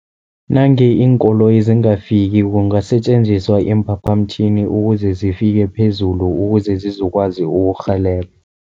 Nange iinkoloyi zingafiki kungasetjenziswa iimphaphamtjhini, ukuze zifike phezulu ukuze zizokwazi ukurhelebha.